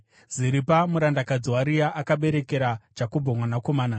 Ziripa murandakadzi waRea akaberekera Jakobho mwanakomana.